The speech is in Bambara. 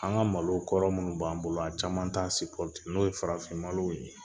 An ka malo kɔrɔ minnu b'an bolo a caman t'a n'o ye farafin malo ye